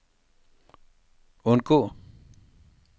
undgå